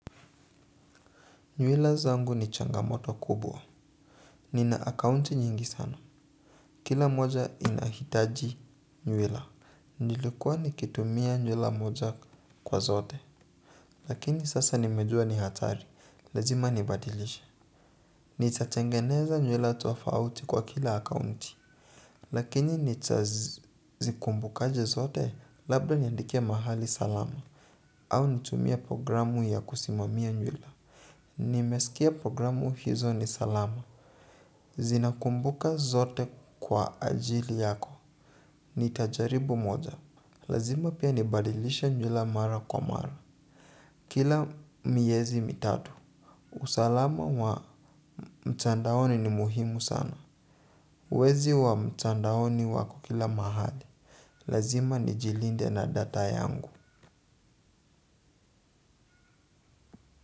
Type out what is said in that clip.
Nywila zangu ni changamoto kubwa. Nina akaunti nyingi sana. Kila moja inahitaji nywila. Nilikuwa nikitumia nywila moja kwa zote. Lakini sasa nimejua ni hatari. Lazima nibadilishe. Nitatengeneza nywila tofauti kwa kila akaunti. Lakini nita zikumbukaje zote labda niandikie mahali salama. Au nitumie programu ya kusimamia nywila. Nimesikia programu hizo ni salama. Zina kumbuka zote kwa ajili yako. Ni tajaribu moja. Lazima pia nibadilishe nywila mara kwa mara. Kila miezi mitatu usalama wa mtandaoni ni muhimu sana. Wezi wa mtandaoni wako kila mahali. Lazima ni jilinde na data yangu.